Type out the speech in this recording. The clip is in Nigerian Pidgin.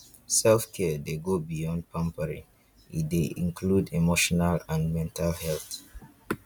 self-care dey go beyond pampering; e dey include emotional and mental health.